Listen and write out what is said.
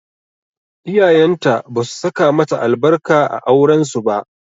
Iyayenta basu saka mata albarka a auren su ba.